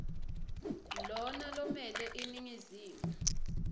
lona lomele iningizimu